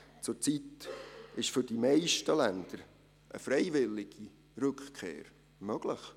Zurzeit ist für die meisten Länder eine freiwillige Rückkehr möglich.